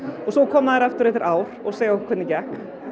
svo koma þeir aftur eftir ár og segja okkur hvernig gekk